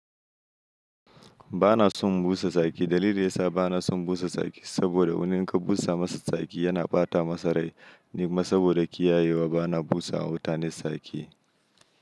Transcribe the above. Ba na son busa saki. Dalili da ya sa ba na son busa saki saboda idan kun busa masa saki yana ɓata masa rai. Ni ma saboda kiyayewa ba na busa wa mutane saki.